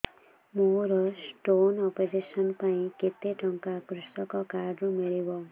ମୋର stone operation ପାଇଁ କେତେ ଟଙ୍କା କୃଷକ କାର୍ଡ ରୁ ମିଳିବ